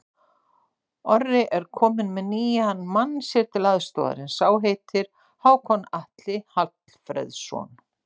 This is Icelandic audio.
Orri er kominn með nýjan mann sér til aðstoðar, en sá heitir Hákon Atli Hallfreðsson.